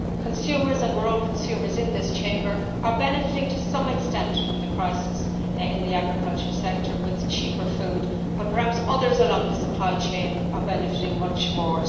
Consumers and we are all consumers in this Chamber are benefiting to some extent from the crisis in the agricultural sector with cheaper food, but perhaps others along the supply chain are benefiting much more.